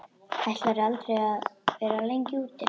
Ætlarðu að vera lengi úti?